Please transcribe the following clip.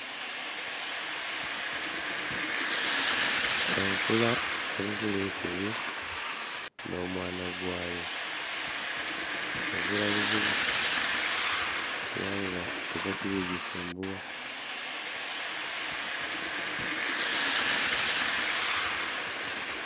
Enkula eri kulya eisubi nho mwaana gwayo ezira buzibu kubanga ezira kili kugisumbugha.